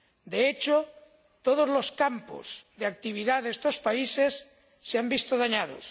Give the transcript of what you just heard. De hecho, todos los campos de actividad de estos países se han visto dañados.